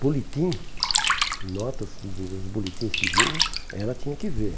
Boletim, notas dos boletins que vinham, ela tinha que ver.